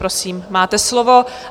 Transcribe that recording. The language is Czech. Prosím, máte slovo.